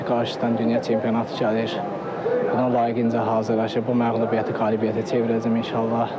İnşallah ki, qarşıdan dünya çempionatı gəlir, buna layiqincə hazırlaşıb bu məğlubiyyəti qələbəyə çevirəcəm inşallah.